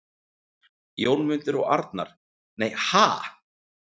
Jónmundur og Arnar: Nei, ha??